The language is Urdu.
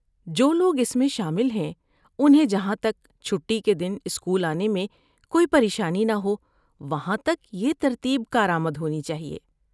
جو لوگ اس میں شامل ہیں، انہیں جہاں تک چھٹی کے دن اسکول آنے میں کوئی پریشانی نہ ہو وہاں تک یہ ترتیب کارآمد ہونی چاہیے۔